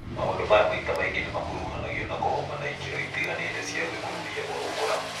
Maũndũ maya maita maingĩ nĩmakuruhanagio na kũhoma na ikĩro itiganĩte cia gwĩkururia gwa gũkũra